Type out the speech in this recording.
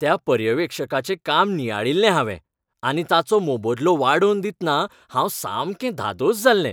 त्या पर्यवेक्षकाचें काम नियाळिल्लें हांवें आनी ताचो मोबदलो वाडोवन दितना हांव सामकें धादोस जाल्लें.